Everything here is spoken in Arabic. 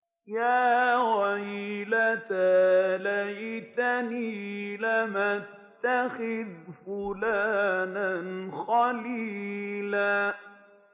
يَا وَيْلَتَىٰ لَيْتَنِي لَمْ أَتَّخِذْ فُلَانًا خَلِيلًا